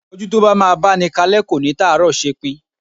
Ojú tó bá máa báni kalẹ́ kò ní tàárọ̀ ṣepin.